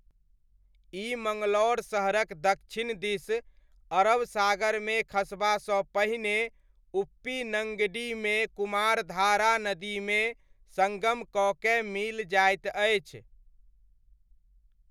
ई मङ्गलौर शहरक दक्षिण दिस अरब सागरमे खसबासँ पहिने उप्पिनङ्गडीमे कुमारधारा नदीमे सङ्गम कऽ कए मिल जाइत अछि।